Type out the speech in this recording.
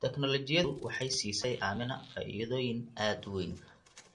Tignoolajiyadu waxay siisay Aamina faa'iidooyin aad u weyn.